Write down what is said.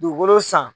Dugukolo san